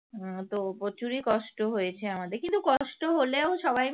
হম তো প্রচুরই কষ্ট হয়েছে আমাদের কিন্তু কষ্ট হলেও সবাই